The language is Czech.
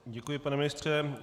Děkuji, pane ministře.